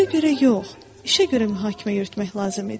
Sözə görə yox, işə görə mühakimə yürütmək lazım idi.